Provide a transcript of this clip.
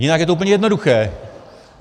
Jinak je to úplně jednoduché.